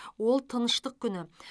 ол тыныштық күні